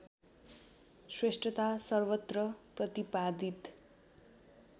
श्रेष्ठता सर्वत्र प्रतिपादित